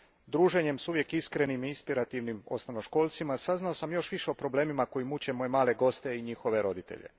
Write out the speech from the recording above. Druženjem s uvijek iskrenim i inspirativnim osnovnoškolcima saznao sam još više o problemima koji muče moje male goste i njihove roditelje.